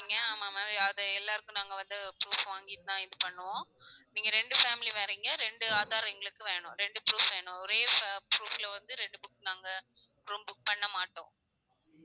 ஆமா ma'am அது எல்லாருக்கும் நாங்க வந்து proof வாங்கிட்டு தான் இது பண்ணுவோம். நீங்க ரெண்டு family வரிங்க ரெண்டு aadhar எங்களுக்கு வேணும் ரெண்டு proof வேணும் ஒரே fa~ proof ல வந்து ரெண்டு book நாங்க room book பண்ண மாட்டோம்